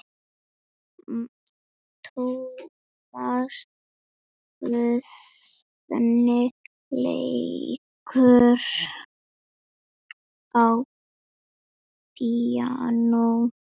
Tómas Guðni leikur á píanó.